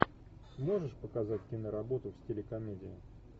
можешь показать киноработу в стиле комедия